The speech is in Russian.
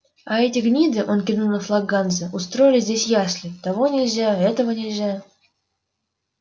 а эти гниды он кивнул на флаг ганзы устроили здесь ясли того нельзя этого нельзя